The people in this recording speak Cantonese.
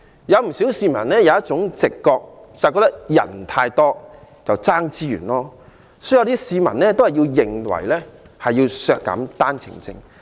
不少市民有一種直覺，就是覺得太多人爭奪資源，有些市民便認為要削減單程證配額。